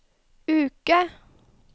uke